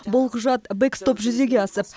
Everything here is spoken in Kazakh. бұл құжат бэкстоп жүзеге асып